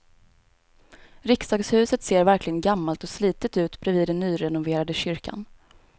Riksdagshuset ser verkligen gammalt och slitet ut bredvid den nyrenoverade kyrkan.